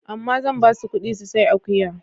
Amma zan ba su ƙuɗi su sai akuya.